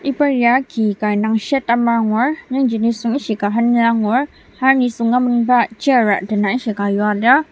iba ya ki ka indang shade amai angur yangji nisung ishika henzüa angur ser nisüng amenba chair a dena ishika yua lir.